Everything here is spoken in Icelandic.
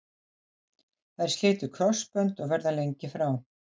Þær slitu krossbönd og verða lengi frá.